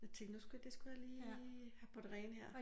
Jeg tænkte nu skulle det skulle jeg lige have på den rene her